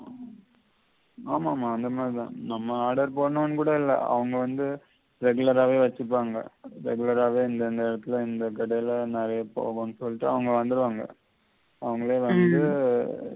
ஆமாமா அந்த மாதி தான் நம்ம order போடோணும்னு கூட இல்ல அவங்க வந்து regular ஆவே வெச்சிப்பாங்க regular ஆவே எந்தந்த இடத்தில எந்த கடைல நெறைய போதானு சொல்லிட்டு அவங்க வ்ந்திடுவாங்க. அவங்களே வந்து